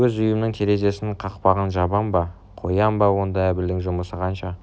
өз үйімнің терезесі кақпағын жабам ба қоям ба онда әбілдің жүмысы қанша